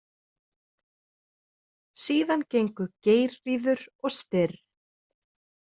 Síðan gengu Geirríður og Styrr.